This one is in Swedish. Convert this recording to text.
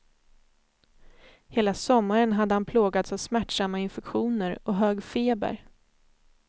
Hela sommaren hade han plågats av smärtsamma infektioner och hög feber.